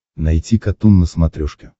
найти катун на смотрешке